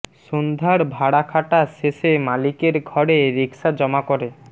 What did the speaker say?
সন্ধ্যার ভাড়া খাটা শেষে মালিকের ঘরে রিকশা জমা করে